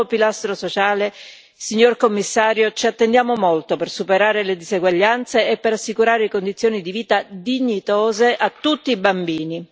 Dal nuovo pilastro sociale, signor Commissario, ci attendiamo molto per superare le diseguaglianze e per assicurare condizioni di vita dignitose a tutti i bambini.